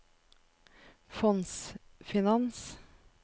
fondsfinans